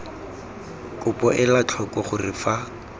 kopo ela tlhoko gore fa